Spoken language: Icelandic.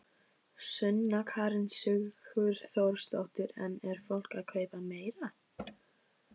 Sunna Karen Sigurþórsdóttir: En er fólk að kaupa meira?